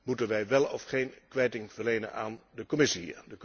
Moeten wij wel of geen kwijting verlenen aan de Commissie?